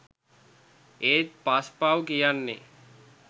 ඒත් පස් පව් කියන්නේ